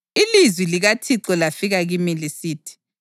Ilizwi likaThixo lafika kimi lisithi: